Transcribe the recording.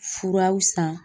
Furaw san